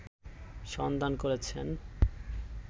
সন্ধান করেছেন